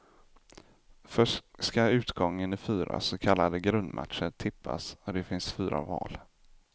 Först skall utgången i fyra så kallade grundmatcher tippas och det finns fyra val.